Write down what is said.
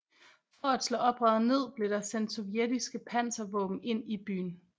For at slå oprøret ned blev der sendt sovjetiske panservåben ind i byen